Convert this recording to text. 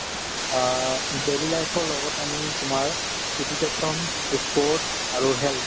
অ, daily life ৰ লগত আমি তোমাৰ education, ই sport আৰু health